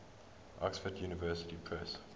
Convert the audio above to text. oxford university press